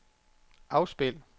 afspil